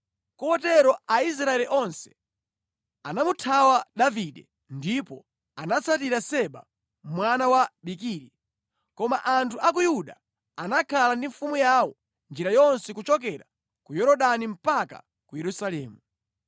Kotero Aisraeli onse anamuthawa Davide ndipo anatsatira Seba mwana wa Bikiri. Koma anthu a ku Yuda anakhala ndi mfumu yawo njira yonse kuchokera ku Yorodani mpaka ku Yerusalemu.